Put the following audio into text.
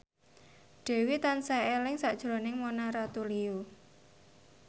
Dewi tansah eling sakjroning Mona Ratuliu